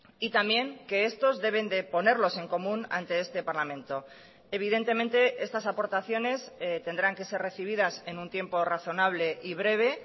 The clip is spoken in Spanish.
y también que estos deben de ponerlos en común ante este parlamento evidentemente estas aportaciones tendrán que ser recibidas en un tiempo razonable y breve